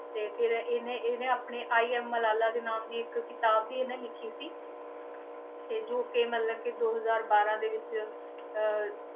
ਤੇ ਫਿਰ ਇਹਨੇ ਇਹਨੇ ਆਪਣੇ i am ਮਲਾਲਾ ਦੇ ਨਾਮ ਦੀ ਇੱਕ ਕਿਤਾਬ ਵੀ ਇਹਨੇ ਲਿਖੀ ਸੀ ਤੇ ਜੋ ਕਿ ਮਤਲਬ ਕਿ ਦੋ ਹਜ਼ਾਰ ਬਾਰਾਂ ਦੇ ਵਿੱਚ ਅਹ